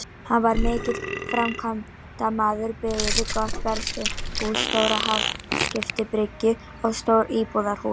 Hann var mikill framkvæmdamaður, byggði gott verslunarhús, stóra hafskipabryggju og stórt íbúðarhús.